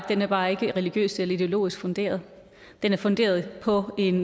den er bare ikke religiøst eller ideologisk funderet den er funderet på en